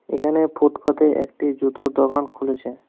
এখানে ফুটপাতে একটি জুতোর দোকান খুলেছে।